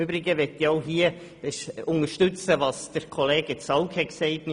Im Übrigen möchte ich unterstützen, was Grossrat Zaugg gesagt hat: